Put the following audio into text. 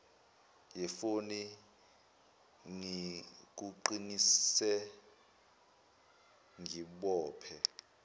yefoni ngikuqinise ngibophe